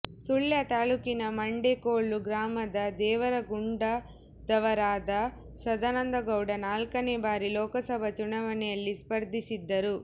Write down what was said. ಸುಳ್ಯ ತಾಲ್ಲೂಕಿನ ಮಂಡೆಕೋಲು ಗ್ರಾಮದ ದೇವರಗುಂಡದವರಾದ ಸದಾನಂದ ಗೌಡ ನಾಲ್ಕನೆ ಬಾರಿ ಲೋಕಸಭಾ ಚುನಾವಣೆಯಲ್ಲಿ ಸ್ಪರ್ಧಿಸಿದ್ದರು